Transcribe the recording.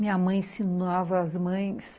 Minha mãe ensinava as mães.